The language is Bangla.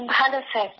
ভালো স্যার